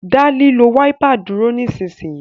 da lilo Wáípà dúró nísìsiyìí!